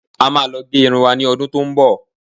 a máa lo ge Irun wa ni ọdún tí o n bo